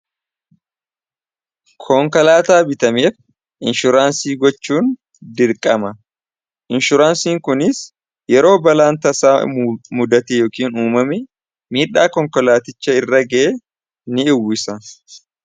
konkolaataa bitameef inshuraansii gochuun dirqama inshuraansii kuniis yeroo balaantaasaa muddate yookiin uumame miidhaa konkolaaticha irra ga'e ni iwwisa